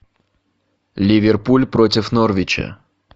ливерпуль против норвича